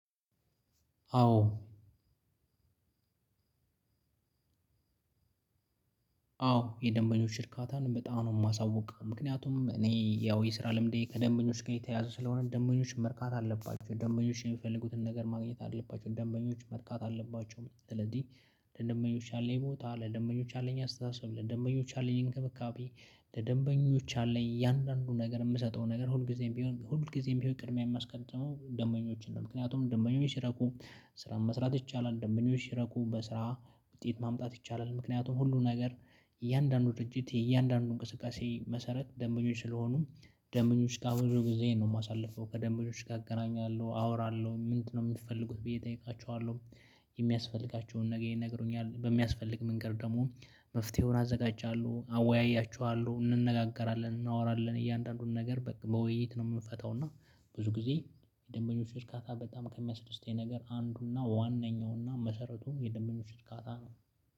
አዎ። አዎ የደንበኞች እርካታን በጣም ነው የማሳውቀው ምክንያቱም እኔ ያው የስራ ለምንዴ ከደንበኞች ጋር የተያያዘ ስለሆነ ደንበኞች መርካት አለባቸው ደንበኞች የሚፈልጉትን ነገር ማግኘት አለባቸው ደንበኞች መርካት አለባቸው። ስለዚህ ደንበኞች አለኝ ቦታ ለደንበኞች አለኝ አስተሳሰብ ደንበኞች አለኝ እንክብካቤ። ደንበኞች አለኝ እያንዳንዱን ነገር የምሰጠው ነገር ሁል ጊዜም ቢሆን ሁል ጊዜም ቢሆን ቅድሚያ የማስቀጥመው ደመኞችን ነው። ምክንያቱም ደመኞች ሲረቁ ስራን መስራት ይቻላል ደመኞች ሲረቁ በስራ ውጤት ማምጣት ይቻላል። ምክንያቱም ሁሉ ነገር እያንዳንዱ ድርጅት የእያንዳንዱ እንቅስቃሴ መሰረት ደመኞች ስለሆኑ። ደመኞች ጋር ብዙ ጊዜ ነው የማሳልፈው ከደመኞች ጋር አገናኛለሁ አወራለሁ ምንድነው የምትፈልጉት ብዬ እጠይቃችኋለሁ። የሚያስፈልጋቸውን ነገር ይነግሩኛል በሚያስፈልግ መንገድ ደግሞ መፍትሄውን አዘጋጃለሁ። አወያያችኋለሁ እንነጋገራለን እናወራለን እያንዳንዱን ነገር በቃ በውይይት ነው የምንፈተው። እና ብዙ ጊዜ የደንበኞች እርካታ በጣም ከሚያስደስተኝ ነገር አንዱ ዋነኛውና መሰረቱን የደንበኞች እጥቃታ ነው።